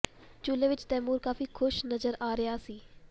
ਝੂਲੇ ਵਿੱਚ ਤੈਮੂਰ ਕਾਫੀ ਖੁਸ਼ ਨਜ਼ਰ ਆ ਰਿਹਾ ਸੀ